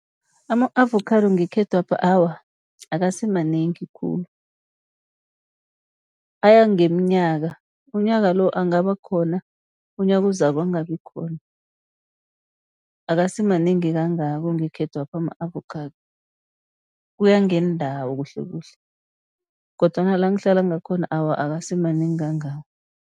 Ama-avokhado ngekhethwapha awa akasimanengi khulu. Aya ngeminyaka unyaka lo angaba khona, unyaka ozako angabi khona. Akasimanengi kangako ngekhethwapha ama-avokhado. Kuya ngeendawo kuhle kuhle, kodwana la ngihlala ngakhona awa, akasimanengi kangako.